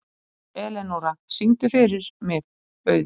Elenóra, syngdu fyrir mig „Auður“.